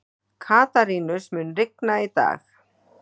Katarínus, mun rigna í dag?